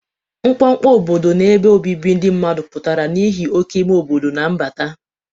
Mkpọkpọ obodo na ebe obibi ndị mmadụ pụtara n'ihi oke ime obodo na mbata.